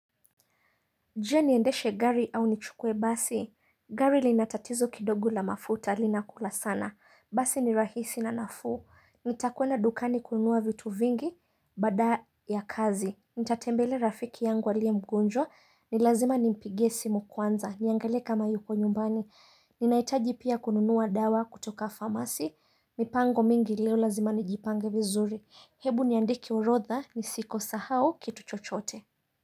Je niendeshe gari au nichukue basi, gari linatatizo kidogu la mafuta linakula sana, basi ni rahisi na nafuu, nitakwenda dukani kununua vitu vingi, baada ya kazi, nitatembelea rafiki yangu aliye mgonjwa, ni lazima nimpigie simu kwanza, niangalie kama yuko nyumbani, ninaitaji pia kununua dawa kutoka farmasi, mipango mingi leo lazima nijipange vizuri, hebu niandike orodha, nisiko sahau kitu chochoote.